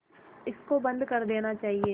इसको बंद कर देना चाहिए